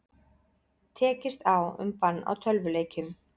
Tekist á um bann á tölvuleikjum